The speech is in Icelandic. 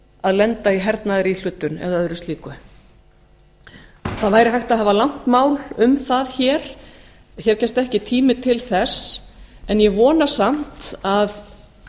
að lenda í hernaðaríhlutun eða öðru slíku það væri hægt að hafa langt mál um það hér en hér gefst ekki tími til þess ég vona samt að